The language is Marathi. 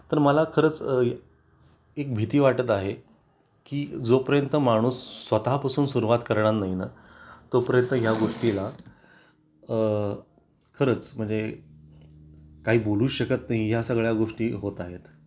तर मला खरंच एक भीती वाटत आहे की जोपर्यंत माणूस स्वतःपासून सुरवात करणार नाही ना तोपर्यंत या गोष्टीला खरंच म्हणजे काही बोलू शकत नाही या सगळ्या गोष्टी होत आहेत